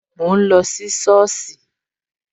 Mo ń lọ sí soosi